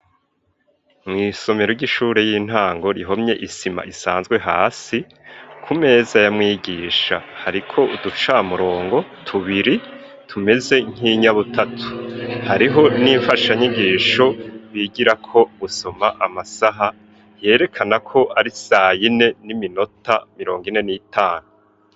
Mu isomero ry'ishure y'intango rihomye isima isanzwe hasi ku meza ya mwigisha hariko uduca murongo tubiri tumeze nk'inyabutatu hariho n'imfasha nyigisho bigira ko gusoma amasaha yerekana ko ari sayine n'iminota mirongo ine n'itanu.